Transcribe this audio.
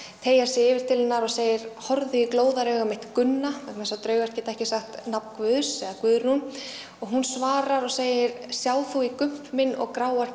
teygir sig yfir til hennar og segir horfðu í glóðarauga mitt Gunna vegna þess að draugar geta ekki sagt nafn guðs eða Guðrún og hún svarar og segir sjá þú í gump minn og gráar